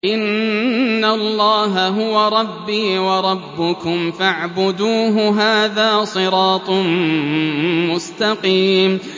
إِنَّ اللَّهَ هُوَ رَبِّي وَرَبُّكُمْ فَاعْبُدُوهُ ۚ هَٰذَا صِرَاطٌ مُّسْتَقِيمٌ